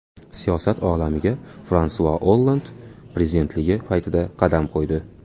Siyosat olamiga Fransua Olland prezidentligi paytida qadam qo‘ydi.